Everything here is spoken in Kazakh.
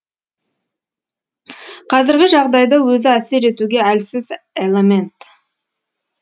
қазіргі жағдайда өзі әсер етуге әлсіз элемент